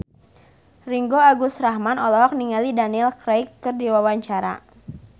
Ringgo Agus Rahman olohok ningali Daniel Craig keur diwawancara